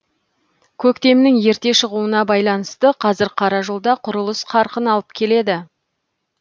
көктемнің ерте шығуына байланысты қазір қара жолда құрылыс қарқын алып келеді